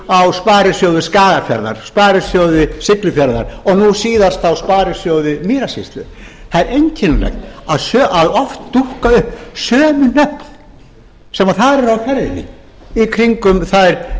yfirtöku á sparisjóði skagafjarðar sparisjóði siglufjarðar og nú síðast sparisjóði mýrasýslu það er einkennilegt að oft dúkka upp sömu nöfn sem þar eru á ferðinni í kringum þær